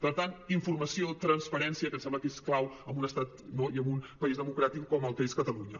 per tant informació transparència que em sembla que és clau en un estat no i en un país democràtic com el que és catalunya